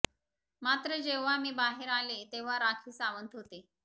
मात्र जेव्हा मी बाहेर आले तेव्हा राखी सावंत होते